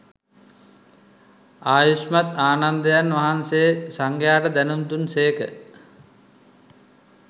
ආයුෂ්මත් ආනන්දයන් වහන්සේ සංඝයාට දැනුම් දුන් සේක